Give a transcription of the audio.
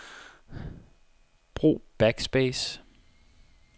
Brug backspace.